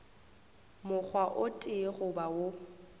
mokgwa o tee goba wo